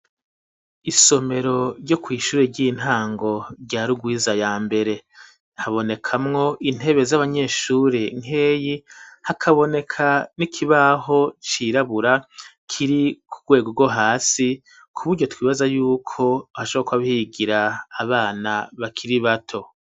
Isomero ryo kw'ishuri ry'intango ryarugwiza ya mbere habonekamwo intebe z'abanyeshuri nkeyi hakaboneka n'ikibaho cirabura kiri ku rwego rwo hasi ku buryo twibaza yuko hashoboka bigira abana bakiri bato.